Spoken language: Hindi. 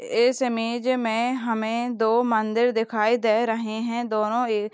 इस इमेज मे हमे दो मंदिर दिखाई दे रहे है दोनों ए--